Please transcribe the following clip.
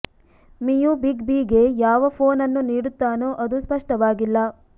ಮಿಯು big B ಗೆ ಯಾವ phone ಅನ್ನು ನೀಡುತ್ತಾನೋ ಅದು ಸ್ಪಷ್ಟವಾಗಿಲ್ಲ